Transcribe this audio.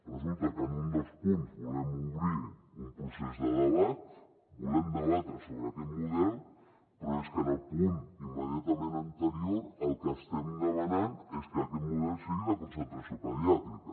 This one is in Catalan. resulta que en un dels punts volem obrir un procés de debat volem debatre sobre aquest model però és que en el punt immediatament anterior el que estem demanant és que aquest model sigui de concentració pediàtrica